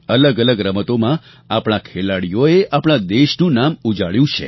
અલગઅલગ રમતોમાં આપણા ખેલાડીઓએ આપણા દેશનું નામ ઉજાળ્યું છે